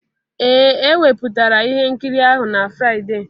Ee e wepụtara ihe nkiri ahụ na Fraịde